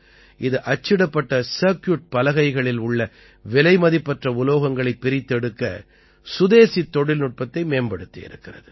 இது அச்சிடப்பட்ட சர்க்கியூட் பலகைகளில் உள்ள விலைமதிபற்ற உலோகங்களைப் பிரித்தெடுக்க சுதேசித் தொழில்நுட்பத்தை மேம்படுத்தியிருக்கிறது